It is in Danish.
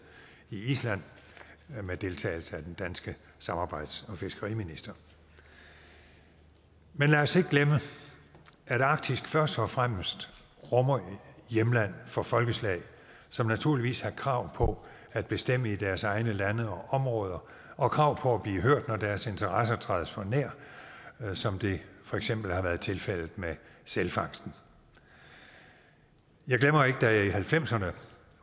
i island med deltagelse af den danske samarbejds og fiskeriminister men lad os ikke glemme at arktis først og fremmest rummer et hjemland for folkeslag som naturligvis har krav på at bestemme i deres egne lande og områder og krav på at blive hørt når deres interesser trædes for nær som det for eksempel har været tilfældet med sælfangsten jeg glemmer ikke da jeg i nitten halvfemserne